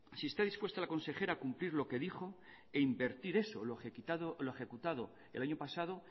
si está dispuesta la consejera a cumplir lo que dijo e invertir eso lo ejecutado el año pasado